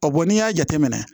n'i y'a jateminɛ